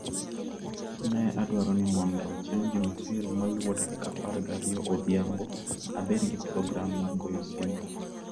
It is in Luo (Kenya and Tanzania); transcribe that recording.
Ne adwaro ni mondo chieng ' Jumapil maluwo, tarik 12 odhiambo, abed gi program mar goyo simo.